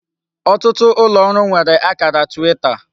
otutu ulooru nwere akara Twita.